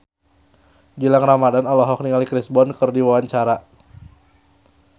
Gilang Ramadan olohok ningali Chris Brown keur diwawancara